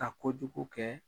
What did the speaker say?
Ka kojugu kɛ